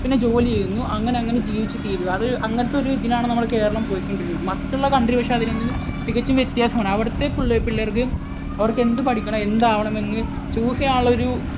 പിന്നെ ജോലി ചെയ്യുന്നു അങ്ങനെയങ്ങനെ ജീവിച്ചു തീരും. അത് അങ്ങനത്തെ ഒരു ഇതിലാണ് നമ്മുടെ കേരളം പൊയ്ക്കൊണ്ടിരിക്കുന്നത്. മറ്റുള്ള country പക്ഷേ അതിൽ നിന്ന് തികച്ചും വ്യത്യാസമാണ്. അവിടുത്തെ പിള്ളേർക്ക് അവർക്ക് എന്ത് പഠിക്കണം എന്ത് ആകണം എന്ന് choose ചെയ്യാനുള്ള ഒരു